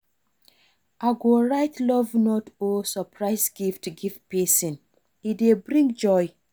I go write love note or surprise gift give pesin, e dey bring joy.